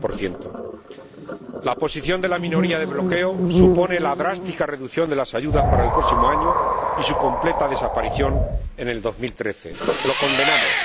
40 La posición de la minoría de bloqueo supone la drástica reducción de las ayudas para el próximo año y su completa desaparición en el año 2013. Lo condenamos.